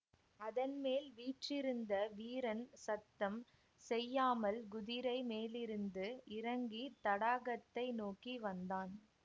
அதன்மேல் வீற்றிருந்த வீரன் சத்தம் செய்யாமல் குதிரை மேலிருந்து இறங்கி தடாகத்தை நோக்கி வந்தான்